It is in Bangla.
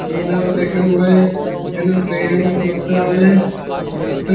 তোমরাও দেখাও ভাই এখানে পেরর্উর করতে হবে।